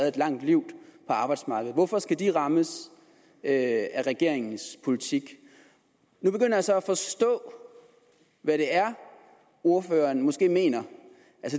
et langt liv på arbejdsmarkedet hvorfor skal de rammes af regeringens politik nu begynder jeg så at forstå hvad det er ordføreren måske mener